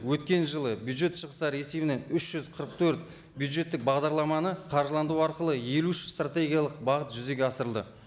өткен жылы бюджет шығыстары есебінен үш жүз қырық төрт бюджеттік бағдарламаны қаржыландыру арқылы елу үш стратегиялық бағыт жүзеге асырылды